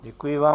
Děkuji vám.